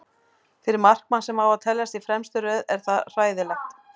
Fyrir markmann sem á að teljast í fremstu röð er það hræðilegt.